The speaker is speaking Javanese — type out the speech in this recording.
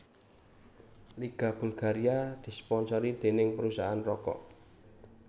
Liga Bulgaria disponsori dening perusahaan rokok